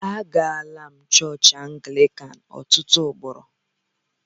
Agala m chọọchị Anglịkan ọtụtụ ugboro.